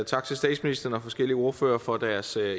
tak til statsministeren og forskellige ordførere for deres